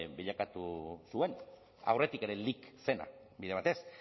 bilakatu zuen aurretik ere lic zena bide batez